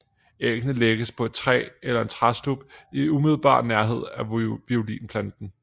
Æggene lægges på et træ eller en træstub i umiddelbar nærhed af violplanter